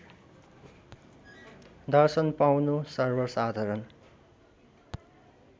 दर्शन पाउनु सर्वसाधारण